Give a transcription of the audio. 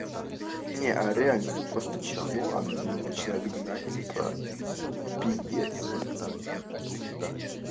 а реально просто чихнул огнём начинают гнать типа пиздец